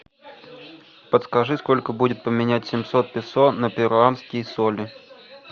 подскажи сколько будет поменять семьсот песо на перуанские соли